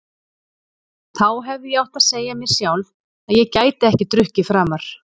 Þá hefði ég átt að segja mér sjálf að ég gæti ekki drukkið framar.